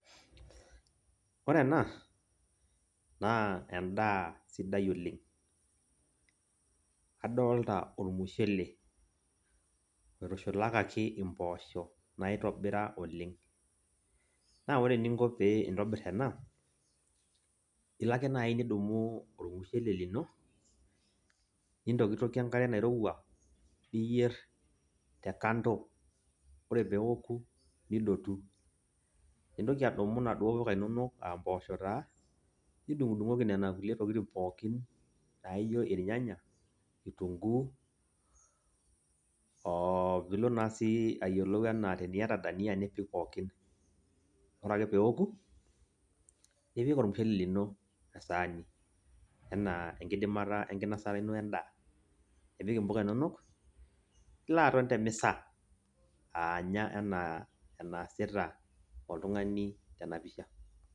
Ore ena, naa endaa sidai oleng'. Adolta ormushele, oitushulukaki impoosho, naitobira oleng. Naa ore eninko pee intobir ena, ilo ake nai nidumu ormushele lino, nintokitokie enkare nairowua, niyier te kando. Ore peoku, nidotu. Nintoki adumu naduo puka inonok ah mpoosho taa, nidung'dung'oki nena kulie tokiting pookin, na ijo irnyanya, kitunkuu, opilo nasi ayiolou enaa teniata dania nipik pookin. Ore ake peoku, nipik ormushele lino esaani, enaa enkidimata enkinosata ino endaa. Nipik impuka inono, nilo aton temisa, aanya enaa enaasita oltung'ani tenapisha.